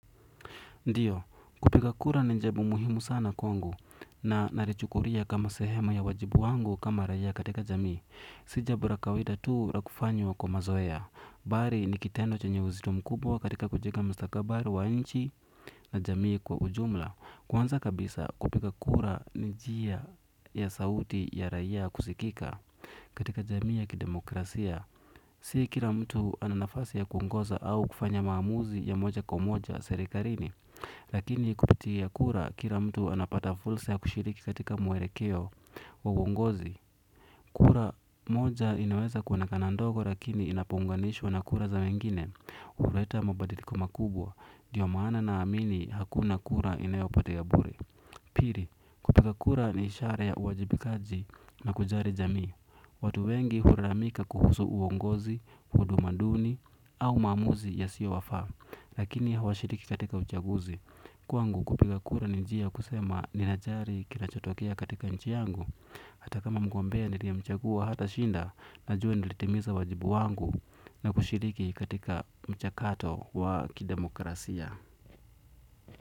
Ndiyo, kupiga kura ni jabu muhimu sana kwangu. Na nalichukulia kama sehema ya wajibu wangu kama raia katika jamii si jambo la kawida tu la kufanywa kwa mazoea, bali ni kitendo chenye uzito mkubwa katika kujenga mstakabari wa nchi na jamii kwa ujumla. Kwanza kabisa kupiga kura ni njia ya sauti ya raia kusikika katika jamii ya kidemokrasia si kila mtu ana nafasi ya kuongoza au kufanya maamuzi ya moja kwa moja serikarini. Lakini kupitikia kura kila mtu anapata fursa ya kushiriki katika muelekeo wa uongozi. Kura moja inaweza kuonekana ndogo lakini inapounganishwa na kura za wengine huleta mabadiliko makubwa ndiyo maana naamini hakuna kura inayopatea bure. Pili, kupiga kura ni ishara ya uwajibikaji na kujali jamii. Watu wengi hulalamika kuhusu uongozi, huduma duni au maamuzi yasiyowafaa. Lakini hawashiriki katika uchaguzi. Kwangu kupiga kura ni njia ya kusema, "ninajali kinachotokea katika nchi yangu". Hata kama mgombea niliyemchagua hatashinda, najua nilitimiza wajibu wangu na kushiriki katika mchakato wa kidemokrasia.